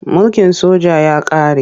Mulkin soja ya ƙare.